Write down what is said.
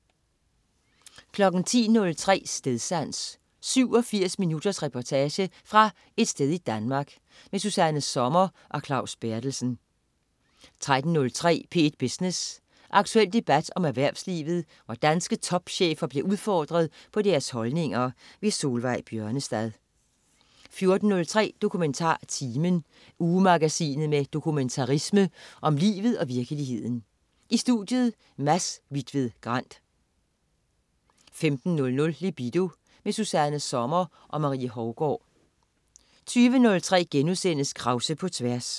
10.03 Stedsans. 87 minutters reportage fra et sted i Danmark. Susanna Sommer og Claus Berthelsen 13.03 P1 Business. Aktuel debat om erhvervslivet, hvor danske topchefer bliver udfordret på deres holdninger. Solveig Bjørnestad 14.03 DokumentarTimen. Ugemagasinet med dokumentarisme om livet og virkeligheden. I studiet: Mads Hvitved Grand 15.00 Libido. Susanna Sommer og Marie Hougaard 20.03 Krause på tværs*